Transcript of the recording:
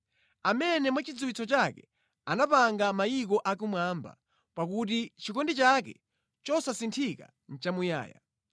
Amene mwachidziwitso chake anapanga mayiko akumwamba, pakuti chikondi chake chosasinthika nʼchamuyaya.